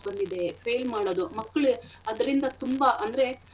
ಬಂದಿದೆ fail ಮಾಡದು ಮಕ್ಳು ಅದ್ರಿಂದ ತುಂಬಾ ಅಂದ್ರೆ.